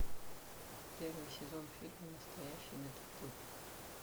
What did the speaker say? первый сезон фильма настоящий детектив